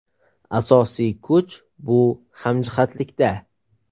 Asosiy kuch bu hamjihatlikda.